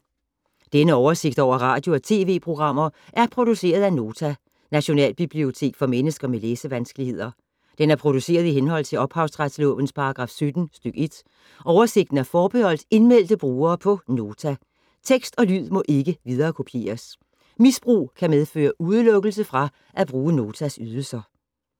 Denne oversigt over radio og TV-programmer er produceret af Nota, Nationalbibliotek for mennesker med læsevanskeligheder. Den er produceret i henhold til ophavsretslovens paragraf 17 stk. 1. Oversigten er forbeholdt indmeldte brugere på Nota. Tekst og lyd må ikke viderekopieres. Misbrug kan medføre udelukkelse fra at bruge Notas ydelser.